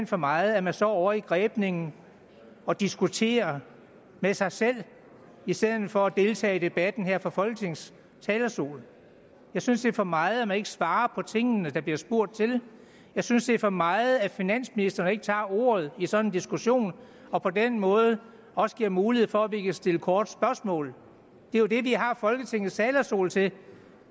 for meget at man står ovre i grebningen og diskuterer med sig selv i stedet for at deltage i debatten her fra folketingets talerstol jeg synes det er for meget at man ikke svarer på de ting der bliver spurgt til jeg synes det er for meget at finansministeren ikke tager ordet i sådan en diskussion og på den måde også giver mulighed for at vi kan stille korte spørgsmål det er jo det vi har folketingets talerstol til